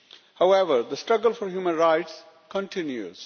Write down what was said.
However, the struggle for human rights continues.